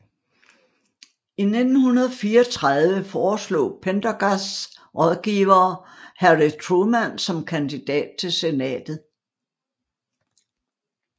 I 1934 foreslog Pendergasts rådgivere Harry Truman som kandidat til Senatet